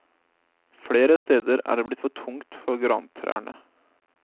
Flere steder er det blitt for tungt for grantrærne.